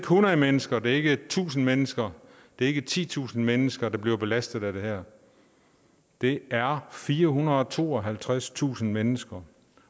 hundrede mennesker det er ikke tusind mennesker det ikke titusind mennesker der bliver belastet af det her det er firehundrede og tooghalvtredstusind mennesker